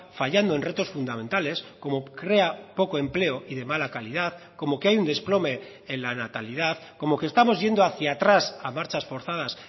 fallando en retos fundamentales como crea poco empleo y de mala calidad como que hay un desplome en la natalidad como que estamos yendo hacia atrás a marchas forzadas